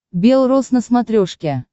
бел рос на смотрешке